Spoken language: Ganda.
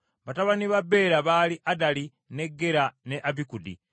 Batabani ba Bera baali Addali, ne Gera, ne Abikudi,